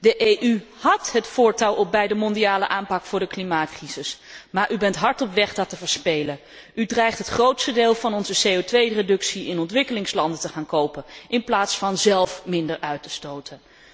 De EU had het voortouw al bij de mondiale aanpak voor de klimaatcrisis, maar u bent hard op weg dat te verspelen. U dreigt het grootste deel van onze CO 2 reductie in ontwikkelingslanden te gaan kopen in plaats van zelf minder uit te stoten.